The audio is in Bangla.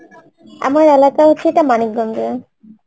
আমার এলাকা হচ্ছে এটা মানিকগঞ্জ এ